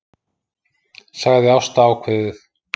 sagði Ásta ákveðið.